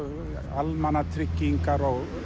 almannatryggingar og